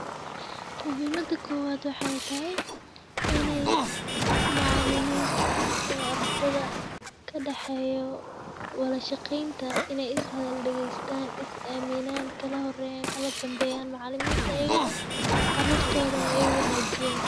Muhiimada kuwaad waxay tahay inay macaalimiinta iyo ardhada ka dhexeeyo wadashaqeynta inay is hadal dhigiistaan, is eeminaan kala horeeyaan kala danbeeyaan macaaliimiinta ayagana, caruurtooda ee ay ugu wanaajiyen.